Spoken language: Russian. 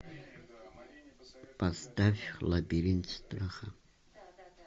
поставь лабиринт страха